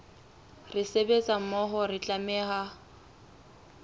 re sebetsa mmoho re tlameha